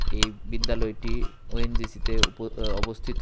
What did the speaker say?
এই বিদ্যালয়টি ওএনজিসিতে উপ অ অবস্থিত।